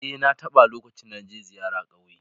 E, na taɓa lokacin da na je ziyara ƙauye